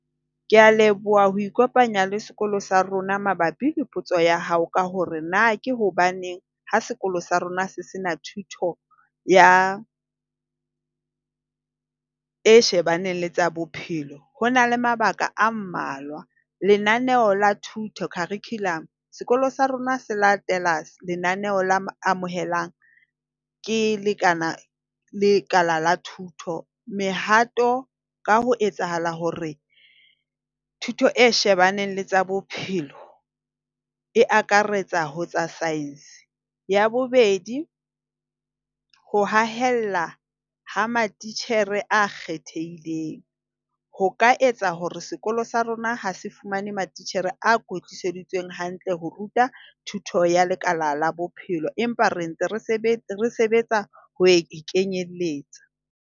Ke a leboha ho ikopanya le sekolo sa rona, mabapi le potso ya hao ka hore na ke hobaneng ha sekolo sa rona se se na thuto ya e shebaneng le tsa Bophelo. Ho na le mabaka a mmalwa. Lenaneo la thuto, curriculum, sekolo sa rona se latela lenaneo le amohelang ke lekana ke lekala la thuto. Mehato ka ho etsahala hore thuto e shebaneng le tsa bophelo e akaretsa ho tsa size. Ya bobedi, ho haella ha matitjhere a kgethehileng ho ka etsa hore sekolo sa rona ha se fumane matitjhere a kwetliseditsweng hantle ho ruta thuto ya lekala la Bophelo empa re ntse re sebetsa ho e kenyelletsa.